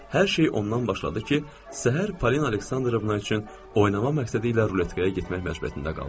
Hər şey ondan başladı ki, səhər Paulin Aleksandrovna üçün oynamaq məqsədi ilə ruletkaya getmək məcburiyyətində qaldım.